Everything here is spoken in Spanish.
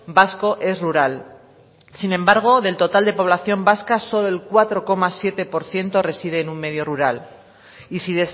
vasco es rural sin embargo del total de población vasca solo el cuatro coma siete por ciento reside en un medio rural y si